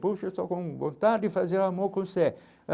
Puxa, estou com vontade de fazer amor com você.